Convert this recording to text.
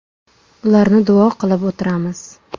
Ularni duo qilib o‘tiramiz.